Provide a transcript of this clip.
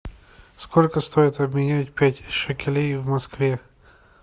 сколько стоит обменять пять шекелей в москве